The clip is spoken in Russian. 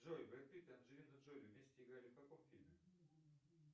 джой бред питт и анджелина джоли вместе играли в каком фильме